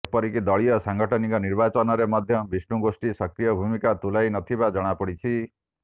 ଏପରକି ଦଳୀୟ ସାଂଗଠନିକ ନିର୍ବାଚନରେ ମଧ୍ୟ ବିଷ୍ଣୁ ଗୋଷ୍ଠୀ ସକ୍ରିୟ ଭୂମିକା ତୁଲାଇ ନଥିବା ଜଣାପଡ଼ିଛି